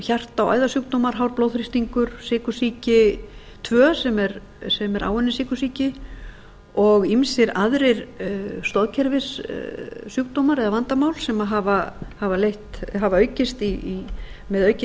og æðasjúkdómar hár blóðþrýstingur sykursýki tvö sem er áunnin sykursýki og ýmsar aðrir stoðkerfissjúkdómar eða vandamál hafa aukist með aukinni